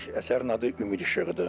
Əsərin adı "Ümid İşığı"dır.